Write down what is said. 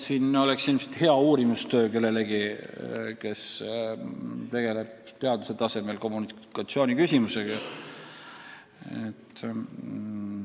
See oleks hea uurimistöö küsimus kellelegi, kes tegeleb teaduse tasemel kommunikatsiooniteemaga.